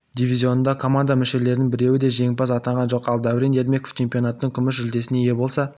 дивизионында команда мүшелерінің біреуі де жеңімпаз атанған жоқ ал дәурен ермеков чемпионаттың күміс жүлдесіне ие болса